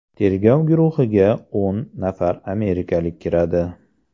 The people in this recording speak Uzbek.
Tergov guruhiga o‘n nafar amerikalik kiradi.